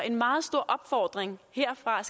en meget stor opfordring herfra